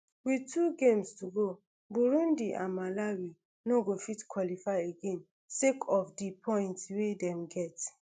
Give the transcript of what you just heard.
wit two games to go burundi and malawi no go fit qualify again sake of di points wey dem get